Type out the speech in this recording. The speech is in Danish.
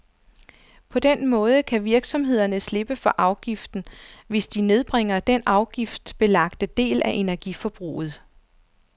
På den måde kan virksomhederne slippe for afgiften, hvis de nedbringer den afgiftsbelagte del af energiforbruget.